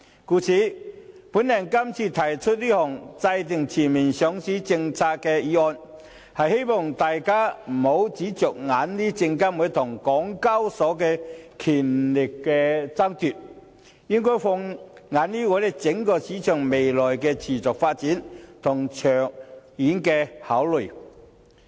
故此，我今次提出這項制訂全面上市政策的議案，希望大家不要只着眼證監會與港交所的權力爭奪，應要放眼整體市場未來的持續發展，以及長遠考慮。